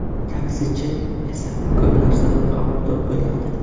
Taksichi esa ko‘p narsadan xabardor bo‘ladi.